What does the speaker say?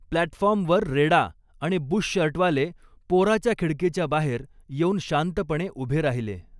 प्लॅटफॉर्मवर रेडा आणि बुशशर्टवाले, पोराच्या खिडकीच्या बाहेर येऊन शांतपणे उभे राहिले.